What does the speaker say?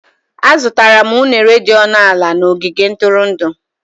Azụtara m unere dị ọnụ ala na ogige ntụrụndụ.